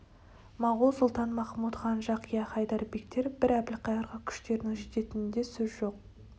моғол сұлтан-махмуд хан жақия хайдар бектер бір әбілқайырға күштерінің жететінінде сөз жоқ